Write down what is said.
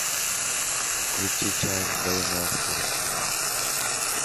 включи чай вдвоем ласковая